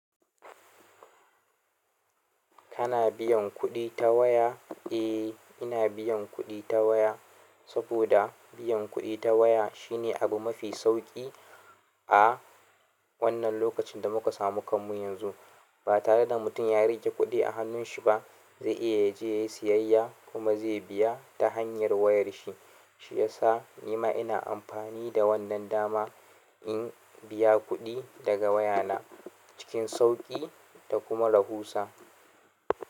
Kana biyan kuɗi ta waya? Eh, ina biyan kuɗi ta waya saboda biyan kuɗi ta waya shine abu mafi sauƙi a wannan lokacin da muka samu kamu yanzu. Ba tare da mutum ya riƙe kuɗi a hannunshi ba, zai iya ya je yayi siyayya kuma zai biya ta hanyar wayar shi. Shi ya sa ni ma ina amfani da wannan dama in biya kuɗi daga wayana cikin sauƙi da kuma rahusa.